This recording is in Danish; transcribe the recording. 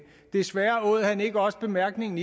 desværre åd han ikke også bemærkningen